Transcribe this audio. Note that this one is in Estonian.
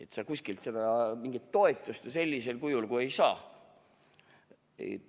Ja siis kuskilt mingit toetust ju ei saa.